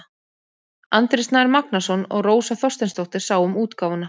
Andri Snær Magnason og Rósa Þorsteinsdóttir sáu um útgáfuna.